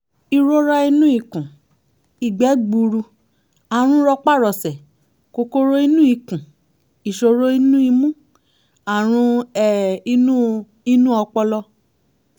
ìrora nínú ikùn ìgbẹ́ gbuuru àrùn rọpárọsẹ̀ kòkòrò inú ikùn ìṣòro inú imú àrùn um inú inú ọpọlọ